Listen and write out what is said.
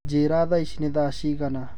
njĩĩra thaa ĩcĩ nĩ thaa cĩĩgana